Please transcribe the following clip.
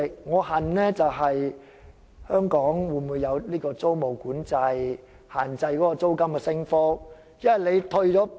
我渴求香港有租務管制，限制租金升幅。